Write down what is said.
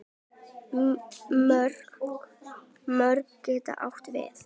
Mörk getur átt við